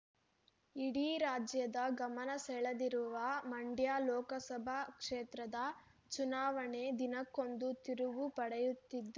ಇಡೀ ರಾಜ್ಯದ ಗಮನ ಸೆಳೆದಿರುವ ಮಂಡ್ಯ ಲೋಕಸಭಾ ಕ್ಷೇತ್ರದ ಚುನಾವಣೆ ದಿನಕ್ಕೊಂದು ತಿರುವು ಪಡೆಯುತ್ತಿದ್ದು